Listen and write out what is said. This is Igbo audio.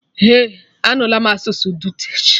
Eh, amụọla m asụsụ dutch